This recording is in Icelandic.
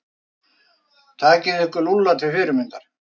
Takið ykkur Lúlla til fyrirmyndar.